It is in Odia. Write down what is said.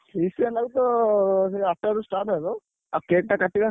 Feast ଆମର ତ ଆଠଟାରୁ start ହବ ଆଉ cake ଟା କାଟିବା।